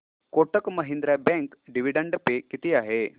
Kotak Mahindra bank dividend pay किती आहे